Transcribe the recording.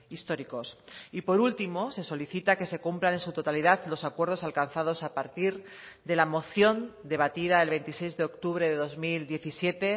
históricos y por último se solicita que se cumplan en su totalidad los acuerdos alcanzados a partir de la moción debatida el veintiséis de octubre de dos mil diecisiete